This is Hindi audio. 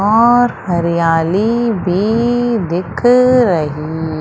और हरियाली भी दिख रही--